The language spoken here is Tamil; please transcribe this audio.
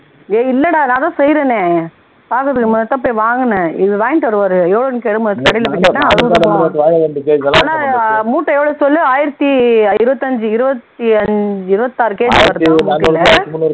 ஏய் இல்லைடா நான்தான் செய்யிறனே முன்னாடிதான் வாங்குனேன் இவர் வாங்கிட்டு வருவார் யோகன் கடைல கேட்டா அறுபது நூபாய் ஆனா மூட்டை எவ்வளவு சொல்லு ஆயிரத்தி இருபத்தி ஐந்து இருபத்தி ஐந்து இருபத்தி ஆறு kg வரும் மூட்டைல